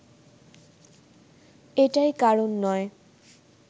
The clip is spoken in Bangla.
এটাই কারণ নয়